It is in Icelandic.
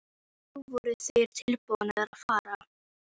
Nú voru þeir tilbúnir að fara.